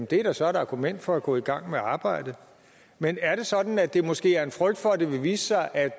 det er jo så et argument for at gå i gang med arbejdet men er det sådan at der måske er en frygt for at det vil vise sig at